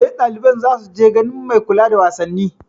Eh, ɗaliban za su je ganin mai kula da wasanni